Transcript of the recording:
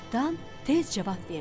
Cırtdan tez cavab verdi.